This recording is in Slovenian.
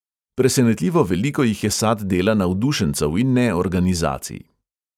Presenetljivo veliko jih je sad dela navdušencev in ne organizacij.